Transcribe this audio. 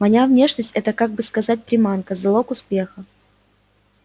моя внешность это как бы сказать приманка залог успеха